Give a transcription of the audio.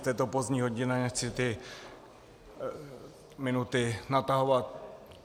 V této pozdní hodině nechci ty minuty natahovat.